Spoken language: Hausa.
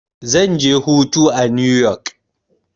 Zan je hutu a new yok.